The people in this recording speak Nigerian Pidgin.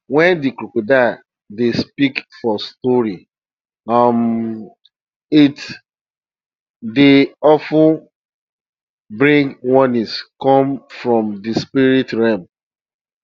wen de crocodile dey speak for stories um it dwy of ten bring warnings come from de spirit realm